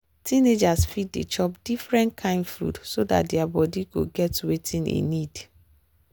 teenagers fit dey chop different kain food so dat their body go get wetin e need.